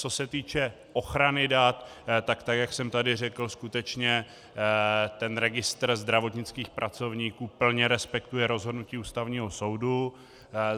Co se týče ochrany dat, tak jak jsem tady řekl, skutečně ten registr zdravotnických pracovníků plně respektuje rozhodnutí Ústavního soudu.